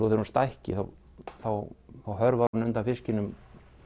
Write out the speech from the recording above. þegar hún stækki þá hörfar hún undan fiskinum